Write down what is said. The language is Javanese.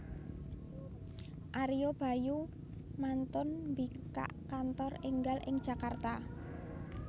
Ario Bayu mantun mbikak kantor enggal ing Jakarta